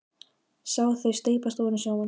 Sá þau steypast ofan í sjóinn.